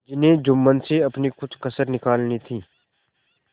जिन्हें जुम्मन से अपनी कुछ कसर निकालनी थी